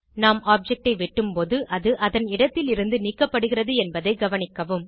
நாம் ஆப்ஜெக்ட் ஐ வெட்டும்போது அது அதன் இடத்திலிருந்து நீக்கப்படுகிறது என்பதை கவனிக்கவும்